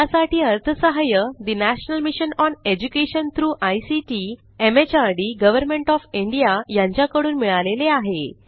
यासाठी अर्थसहाय्य national mission on education through ICT MHRD government of India यांच्याकडून मिळालेले आहे